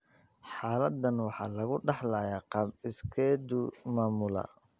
Xaaladdan waxaa lagu dhaxlayaa qaab iskeed u maamula